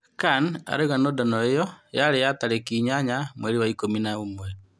Kan arauga nũndano ĩyo yarĩ ya tarĩki inyanya mweri wa ikũmi na-ũmwe.